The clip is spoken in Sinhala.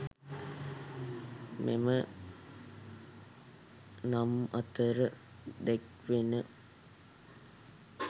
මෙම නම් අතර දැක්වෙන